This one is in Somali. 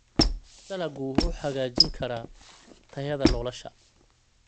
Dalaggu wuxuu hagaajin karaa tayada nolosha.